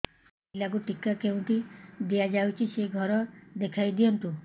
ପିଲାକୁ ଟିକା କେଉଁଠି ଦିଆଯାଉଛି ସେ ଘର ଦେଖାଇ ଦିଅନ୍ତୁ